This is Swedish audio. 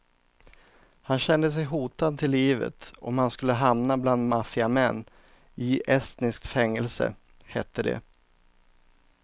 Han kände sig hotad till livet om han skulle hamna bland maffiamän i estniskt fängelse, hette det.